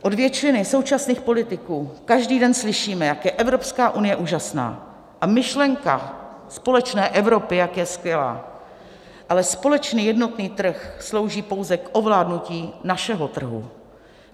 Od většiny současných politiků každý den slyšíme, jak je Evropská unie úžasná a myšlenka společné Evropy jak je skvělá, ale společný jednotný trh slouží pouze k ovládnutí našeho trhu.